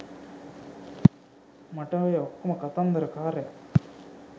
ඔය ඔක්කොම කතන්දරකාරය